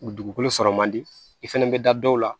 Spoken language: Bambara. U dugukolo sɔrɔ man di i fana bɛ da dɔw la